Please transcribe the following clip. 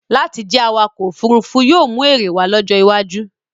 Láti jẹ́ awakọ̀-òfurufú yóò mú èrè wá lọ́jọ́ iwájú.